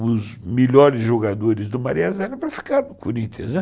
os melhores jogadores do Maria Zélia para ficar no Corinthians, né.